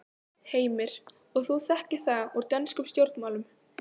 Heimir: Og þú þekkir það úr dönskum stjórnmálum?